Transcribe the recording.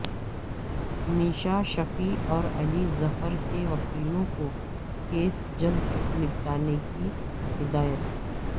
میشا شفیع اور علی ظفر کے وکیلوں کو کیس جلد نمٹانے کی ہدایت